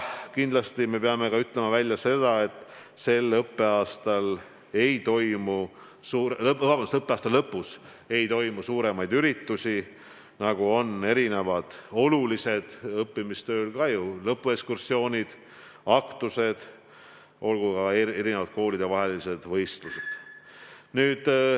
Kindlasti me peame ütlema välja ka seda, et selle õppeaasta lõpus ei toimu suuremaid üritusi, nagu lõpuekskursioonid, aktused või olgu ka koolide vahelised võistlused.